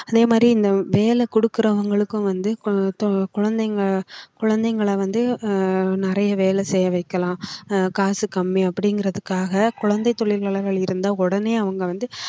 அதே மாதிரி இந்த வேலை கொடுக்கிறவங்களுக்கும் வந்து குழந்தைங்க குழந்தைங்களை வந்து ஆஹ் நிறைய வேலை செய்ய வைக்கலாம் அஹ் காசு கம்மி அப்படிங்கறதுக்காக குழந்தைத் தொழில் நலன்கள் இருந்தா உடனே அவங்க வந்து